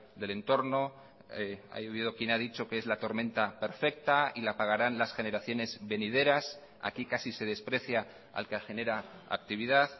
del entorno ha habido quien ha dicho que es la tormenta perfecta y la pagarán las generaciones venideras aquí casi se desprecia al que genera actividad